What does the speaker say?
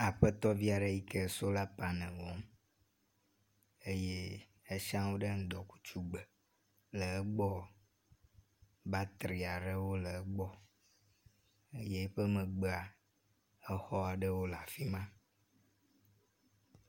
aƒetɔviaɖe yike sola panel wɔm eye esiãwo ɖe ŋdɔkutsu gbe, le egbɔ batriaɖewo le egbɔ ye eƒe megbea exɔɖewo leafima